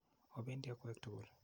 Opendi akwek tukul.